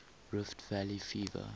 rift valley fever